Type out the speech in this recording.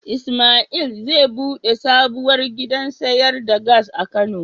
Ismail zai bude sabuwar gidan sayar da Gas a kano.